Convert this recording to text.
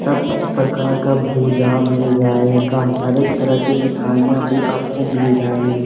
सब ची प्रकार का भुजा मिल जाएगा। हर एक तरह की मिठाइयाँ भी आपको मिल जाएंगी।